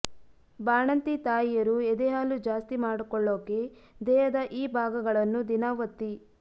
ಬಾಣಂತಿ ತಾಯಿಯರು ಎದೆ ಹಾಲು ಜಾಸ್ತಿ ಮಾಡ್ಕೊಳ್ಳೋಕೆ ದೇಹದ ಈ ಭಾಗಗಳನ್ನು ದಿನಾ ಒತ್ತಿ